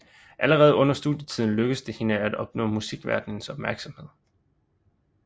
Allerede under studietiden lykkedes det hende at opnå musikverdenens opmærksomhed